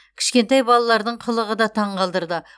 кішкентай балалардың қылығы да таңғалдырды